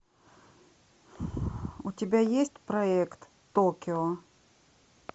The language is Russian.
у тебя есть проект токио